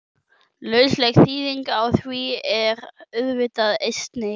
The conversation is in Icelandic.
Lausleg þýðing á því er auðvitað Einsi!